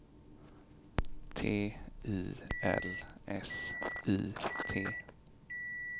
T I L S I T